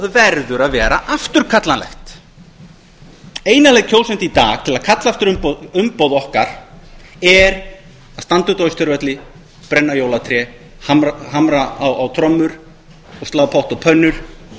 verður að vera afturkallanlegt eina leið kjósenda í dag til að kalla aftur umboð okkar er að standa úti á austurvelli brenna jólatré hamra á trommur og slá potta og pönnur